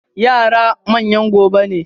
Yara manyan gobe ne.